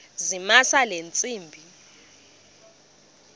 zamisa le ntsimbi